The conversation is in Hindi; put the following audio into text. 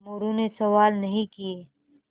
मोरू ने सवाल नहीं किये